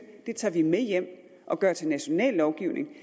tager vi med hjem og gør til national lovgivning